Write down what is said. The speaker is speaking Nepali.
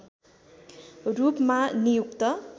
रूपमा नियुक्त